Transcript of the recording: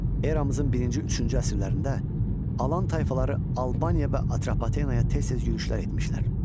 Eramızın birinci, üçüncü əsrlərində Alan tayfaları Albaniya və Atropatenaya tez-tez yürüşlər etmişlər.